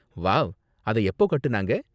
Wow, அத எப்போ கட்டுனாங்க?